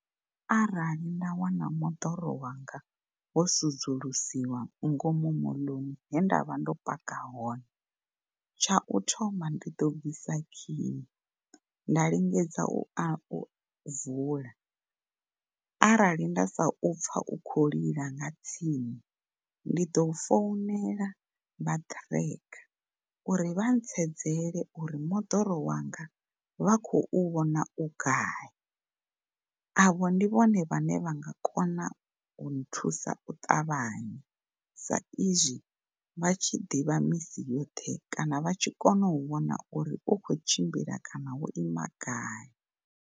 Arali nda wana moḓoro wanga wo sudzulusiwa ngomu moḽoni he ndavha ndo paka hone tshau thoma ndi ḓo bvisa khiyi nda lingedza u a u vula arali nda sa u pfa u kho lila nga tsini ndi ḓo founela vha tracker uri vha ntsedzele uri moḓoro wanga vha khou vhona u gai avho ndi vhone vhane vhanga kona u nthusa u ṱavhanya sa izwi vha tshi ḓivha misi yoṱhe kana vha tshi kona u vhona uri u kho tshimbila kana wo ima gai.